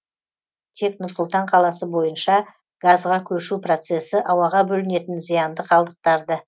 тек нұр сұлтан қаласы бойынша газға көшу процесі ауаға бөлінетін зиянды қалдықтарды